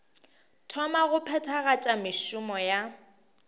thoma go phethagatša mešomo ya